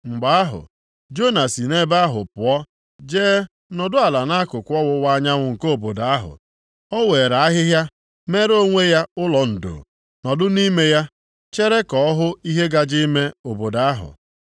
Mgbe ahụ, Jona si nʼebe ahụ pụọ jee nọdụ ala nʼakụkụ ọwụwa anyanwụ nke obodo ahụ. O weere ahịhịa meere onwe ya ụlọ ndo, nọdụ nʼime ya, chere ka ọ hụ ihe gaje ime obodo ahụ.